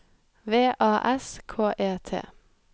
V A S K E T